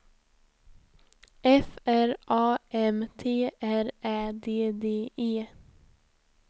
F R A M T R Ä D D E